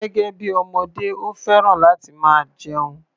Gẹ́gẹ́ bí ọmọdé, ó fẹ́ràn láti máa jẹun.